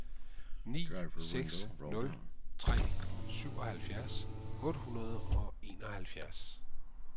ni seks nul tre syvoghalvfjerds otte hundrede og enoghalvfjerds